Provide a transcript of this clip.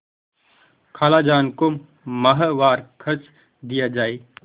खालाजान को माहवार खर्च दिया जाय